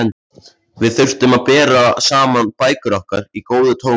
Við þyrftum að bera saman bækur okkar í góðu tómi.